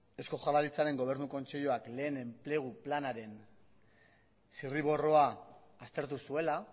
eusko jaurlaritzaren gobernu kontseiluak lehen enplegu planaren zirriborroa aztertu zuela